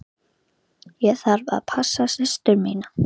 Ég þarf að passa systur mína.